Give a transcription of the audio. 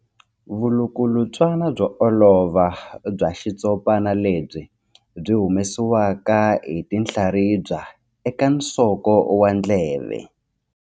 Vulukulutswana byo olova bya xitshopana lebyi byi humesiwaka hi tinhlaribya eka nsoko wa ndleve.